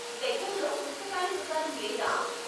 దగ్గరలో పుస్తకాల దుకాణం లేదా?